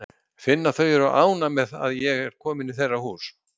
Finn að þau eru ánægð með að ég er komin í þeirra hús.